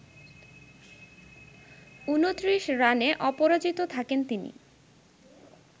২৯ রানে অপরাজিত থাকেন তিনি